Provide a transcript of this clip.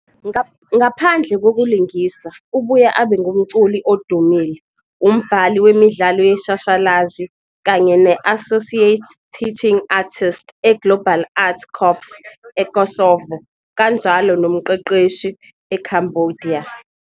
Ngaphandle kokulingisa, ubuye abe ngumculi odumile, umbhali wemidlalo yeshashalazi kanye ne-Associate Teaching Artist eGlobal Arts Corps eKosovo kanjalo nomqeqeshi eCambodia.